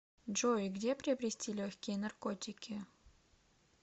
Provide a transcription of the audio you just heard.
джой где приобрести легкие наркотики